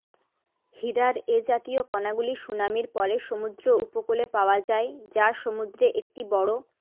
হীরার এ জাতীয় কণাগুলি সুনামির পরে সমুদ্র উপকূলে পাওয়া যায় যা সমুদ্রে একটি বড়